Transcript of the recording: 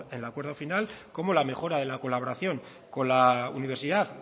en el acuerdo final como la mejora de la colaboración con la universidad